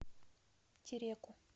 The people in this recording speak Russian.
тереку